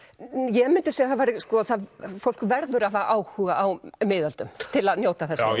ég myndi segja að fólk verður að hafa áhuga á miðöldum til að njóta þessarar